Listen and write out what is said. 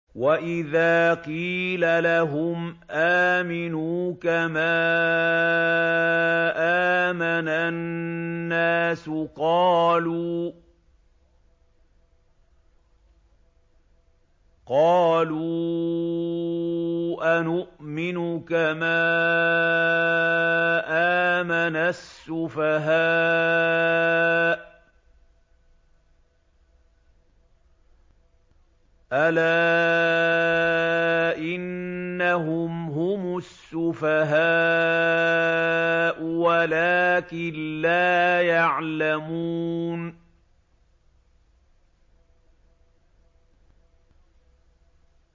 وَإِذَا قِيلَ لَهُمْ آمِنُوا كَمَا آمَنَ النَّاسُ قَالُوا أَنُؤْمِنُ كَمَا آمَنَ السُّفَهَاءُ ۗ أَلَا إِنَّهُمْ هُمُ السُّفَهَاءُ وَلَٰكِن لَّا يَعْلَمُونَ